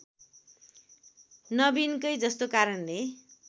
नवीनकै जस्तो कारणले